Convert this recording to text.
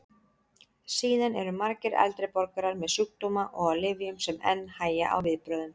Síðan eru margir eldri borgarar með sjúkdóma og á lyfjum sem enn hægja á viðbrögðum.